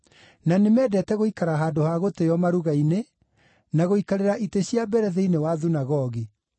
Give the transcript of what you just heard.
na nĩmendete gũikara handũ ha gũtĩĩo maruga-inĩ, na gũikarĩra itĩ cia mbere thĩinĩ wa thunagogi;